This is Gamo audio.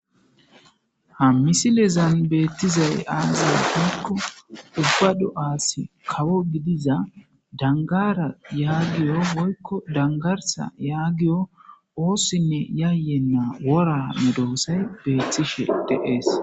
Ha misslezan bettizay aaze giiko ubba do'as kawo gidiza danggara yagiyo woykko danggarssa yagiyo ossine yayenna wora medossay betishshe de'es.